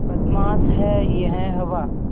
बदमाश है यह हवा